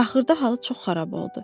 Axırda halı çox xarab oldu.